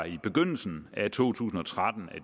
i begyndelsen af to tusind og tretten